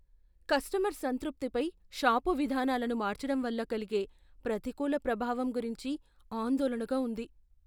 Customer సంతృప్తిపై shop విధానాలను మార్చడం వల్ల కలిగే ప్రతికూల ప్రభావం గురించి ఆందోళనగా ఉంది.